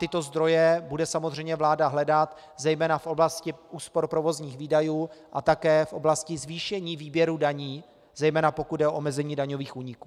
Tyto zdroje bude samozřejmě vláda hledat zejména v oblasti úspor provozních výdajů a také v oblasti zvýšení výběru daní, zejména pokud jde o omezení daňových úniků.